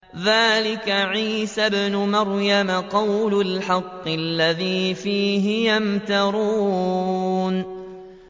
ذَٰلِكَ عِيسَى ابْنُ مَرْيَمَ ۚ قَوْلَ الْحَقِّ الَّذِي فِيهِ يَمْتَرُونَ